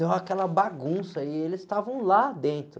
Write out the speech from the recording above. Deu aquela bagunça aí, eles estavam lá dentro.